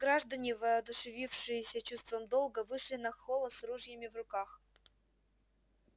граждане воодушевившиеся чувством долга вышли на холла с ружьями в руках